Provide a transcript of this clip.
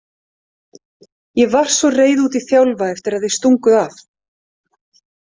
Ég var svo reið út í Þjálfa eftir að þið stunguð af